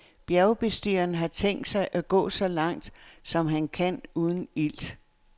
Bjergbestigeren har tænkt sig at gå så langt, som han kan uden ilt.